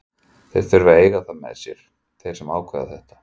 Þeir þurfa að eiga það með sér, þeir sem ákveða þetta.